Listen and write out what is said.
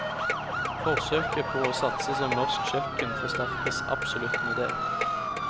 Forsøket på å satse som norsk kjøkken forsterkes absolutt med det.